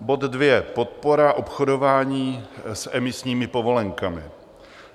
Bod 2. Podpora obchodování s emisními povolenkami.